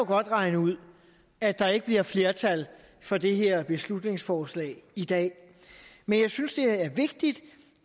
godt regne ud at der ikke bliver flertal for det her beslutningsforslag i dag men jeg synes det er vigtigt